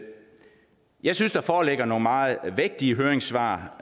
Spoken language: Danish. jeg synes at der foreligger nogle meget vægtige høringssvar